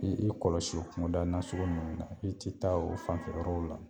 I i kɔlɔsi o kuŋoda nasugu ninnu na, i ti taa o fanfɛ yɔrɔw la.